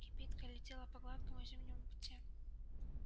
кибитка летела по гладкому зимнему пути